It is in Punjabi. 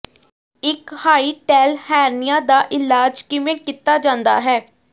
ਇਕ ਹਾਈਟੈੱਲ ਹੈਰਨੇਿਆ ਦਾ ਇਲਾਜ ਕਿਵੇਂ ਕੀਤਾ ਜਾਂਦਾ ਹੈ